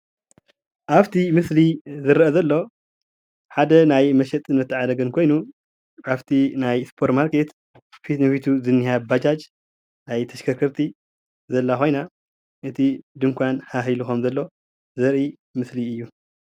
ኣብቲ ምስሊ ዝረአ ዘሎ ሓደ ናይ መሸጥን መተዓዳደግን ኮይኑ ካፍቲ ናይ ስፖር ማርኬት ፊት ንፊቱ ዝንሃ ባጃጅ ናይ ተሽከርከርቲ ዘላ ኮይና እቲ ድኳን ሃህ ኢላ ከምዘሎ ዘርኢ ምስሊ እዩ፡፡